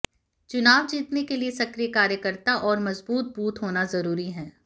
चुनाव जीतने के लिए सक्रिय कार्यकर्ता और मजबूत बूथ होना जरूरी है